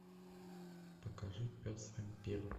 покажи пес вампир